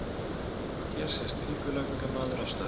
Hér sést pípulagningamaður að störfum.